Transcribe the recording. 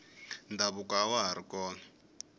ndhavuko awa hari kona